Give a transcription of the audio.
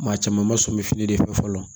Maa caman ma sɔmi fini de fɛ fɔlɔ